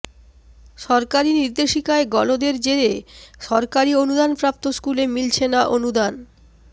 সরকারি নির্দেশিকায় গলদের জেরে সরকারি অনুদানপ্রাপ্ত স্কুলে মিলছে না অনুদান